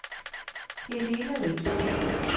Helene Riis